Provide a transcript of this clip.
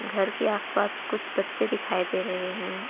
घर के आस पास कुछ बच्चे दिखाई दे रहे हैं।